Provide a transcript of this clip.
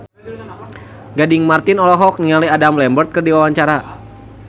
Gading Marten olohok ningali Adam Lambert keur diwawancara